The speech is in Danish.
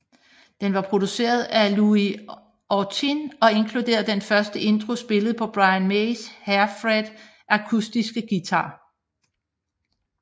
Den var produceret af Louie Austin og inkluderede den første intro spillet på Brian Mays Hairfred akustiske guitar